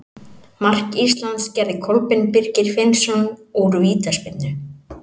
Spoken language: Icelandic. Mark Íslands gerði Kolbeinn Birgir Finnsson úr vítaspyrnu.